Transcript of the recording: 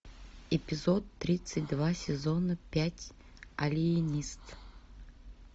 эпизод тридцать два сезона пять алиенист